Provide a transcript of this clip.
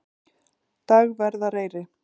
Dagverðareyri